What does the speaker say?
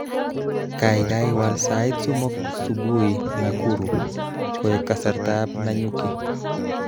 Kaikai wal sait somok subui Nakuru koek kasartaab Nyanuki